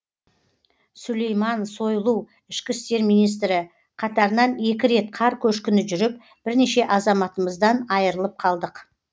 сулейман сойлу ішкі істер министрі қатарынан екі рет қар көшкіні жүріп бірнеше азаматымыздан айырылып қалдық